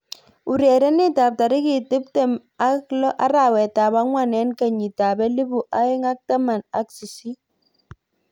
Urerenet ab tarik tip tem ak lo arawet ab angwan eng kenyit ab elipu aeng ak taman ak sisit.